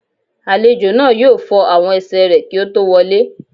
Àlejò náà yóò fọ àwọn ẹsẹ̀ rẹ̀ kí ó tó wọ lé